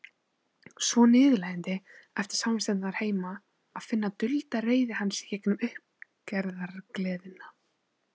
Svo niðurlægjandi, eftir samvistirnar heima, að finna dulda reiði hans í gegnum uppgerðargleðina.